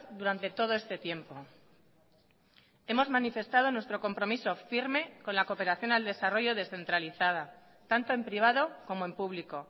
durante todo este tiempo hemos manifestado nuestro compromiso firme con la cooperación al desarrollo descentralizada tanto en privado como en público